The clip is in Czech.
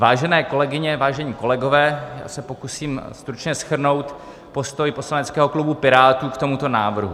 Vážené kolegyně, vážení kolegové, já se pokusím stručně shrnout postoj poslaneckého klubu Pirátů k tomuto návrhu.